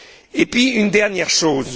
Et puis une dernière chose.